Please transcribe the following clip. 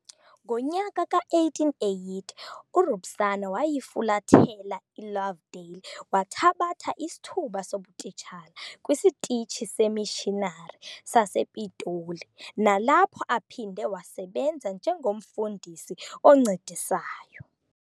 Ngonyaka ka-1880 uRubusana wayifulathela iLovedale, wathabatha isithuba sobutitshala kwisitishi semishinari sasePiltoni, nalapho aphinde wasebenza njengomfundisi oncedisayo.